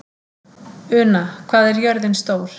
Una, hvað er jörðin stór?